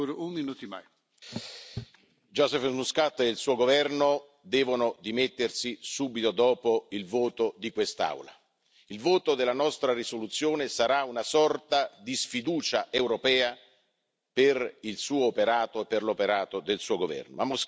Signor Presidente, onorevoli colleghi, Joseph Muscat e il suo governo devono dimettersi subito dopo il voto di quest'Aula. Il voto della nostra risoluzione sarà una sorta di sfiducia europea per il suo operato e per l'operato del suo governo.